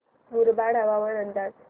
मुरबाड हवामान अंदाज